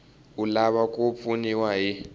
u lava ku pfuniwa hi